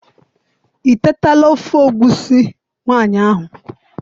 I tetala ofe egusi nwanyi ahu?